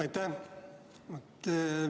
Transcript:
Aitäh!